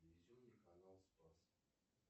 телевизионный канал спас